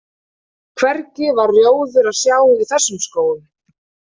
Hvergi var rjóður að sjá í þessum skógum.